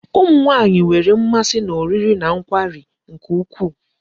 Ụmụ nwaanyị nwere mmasị n'oriri na nkwari nke ukwuu.